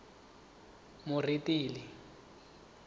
moretele